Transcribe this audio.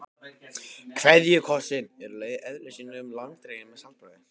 KVEÐJUKOSSINN er í eðli sínu langdreginn með saltbragði.